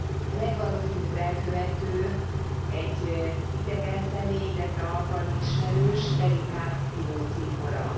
A legvalószínűbb elkövető egy idegen személy, illetve alkalmi ismerős, leginkább ivócimbora.